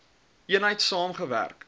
eenheid saam gewerk